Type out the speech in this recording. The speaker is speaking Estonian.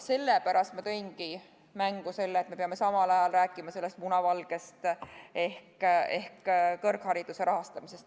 Sellepärast ma tõingi mängu selle, et me peame samal ajal rääkima ka n-ö munavalgest ehk kõrghariduse rahastamisest.